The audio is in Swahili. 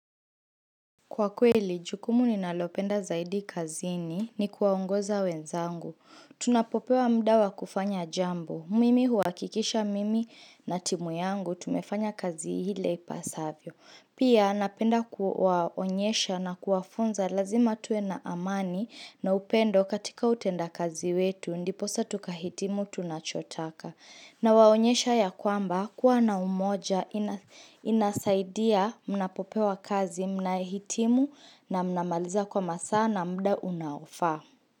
Kwa kweli, jukumu ninalopenda zaidi kazini ni kuwaongoza wenzangu. Tunapopewa mda wa kufanya jambo. Mimi huakikisha mimi na timu yangu, tumefanya kazi ile ipasavyo. Pia napenda kuwaonyesha na kuwafunza lazima tuwe na amani na upendo katika utenda kazi wetu, ndiposa tukahitimu tunachotaka. Na waonyesha ya kwamba kuwa na umoja inasaidia mnapopewa kazi mnahitimu na mnamaliza kwa masaa na muda unaofaa.